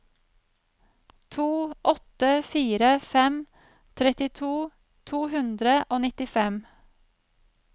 to åtte fire fem trettito to hundre og nittifem